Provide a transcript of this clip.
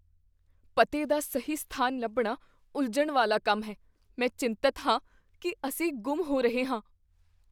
ਪਤੇ ਦਾ ਸਹੀ ਸਥਾਨ ਲੱਭਣਾ ਉਲਝਣ ਵਾਲਾ ਕੰਮ ਹੈ। ਮੈਂ ਚਿੰਤਤ ਹਾਂ ਕੀ ਅਸੀਂ ਗੁੰਮ ਹੋ ਰਹੇ ਹਾਂ।